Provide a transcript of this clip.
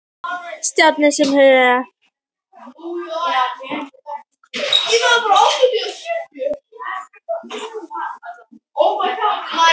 Stjáni var hins vegar alveg viss um að sér tækist aldrei að læra öll skólaljóðin.